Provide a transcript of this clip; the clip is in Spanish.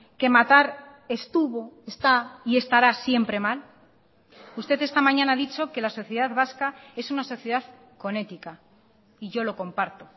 que matar estuvo está y estará siempre mal usted esta mañana ha dicho que la sociedad vasca es una sociedad con ética y yo lo comparto